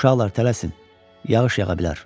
Uşaqlar, tələsin, yağış yağa bilər.